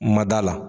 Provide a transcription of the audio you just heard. Mada la